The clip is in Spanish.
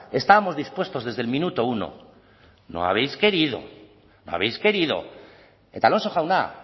estábamos dispuestos desde el minuto uno no habéis querido no habéis querido eta alonso jauna